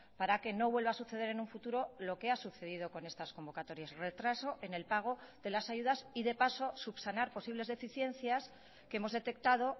para que no vuelva a suceder en un futuro lo que ha sucedido con estas convocatorias retraso en el pago de las ayudas y de paso subsanar posibles deficiencias que hemos detectado